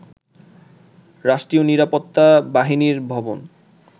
রাষ্ট্রীয় নিরাপত্তা বাহিনীর ভবন